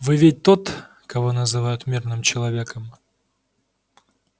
вы ведь тот кого называют мирным человеком